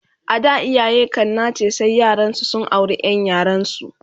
A da iyaye kan nace sai yaransu su aure Ƴan yaransu